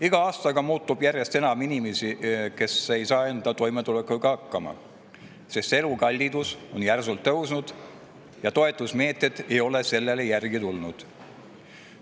Iga aastaga on järjest enam inimesi, kes ei saa enda toimetulekuga hakkama, sest elukallidus on järsult tõusnud ja toetusmeetmed ei ole sellele järele tulnud.